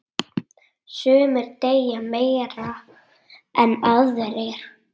Sumir deyja meira en aðrir.